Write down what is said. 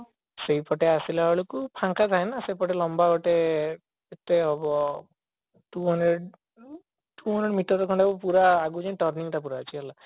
ସେଇପଟେ ଆସିଲା ବେଳକୁ ଫାଙ୍କା ଥାଏ ନା ସେପଟେ ଲାମ୍ବା ଗୋଟେ two hundred two hundred meter ଖଣ୍ଡେ ପୁରା ଆଗକୁ ଯାଇକି turning ପୁରା ଅଛି ହେଲା